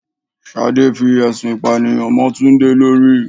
Ṣadé fi ẹ̀sùn ìpànìyàn mo Túndé lórí.